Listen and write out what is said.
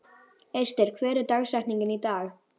Ester, hver er dagsetningin í dag?